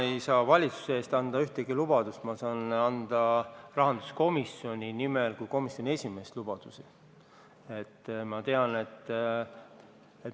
Ma ei saa valitsuse eest anda ühtegi lubadust, ma saan rahanduskomisjoni nimel kui komisjoni esimees lubadusi anda.